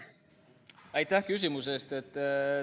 Aitäh küsimuse eest!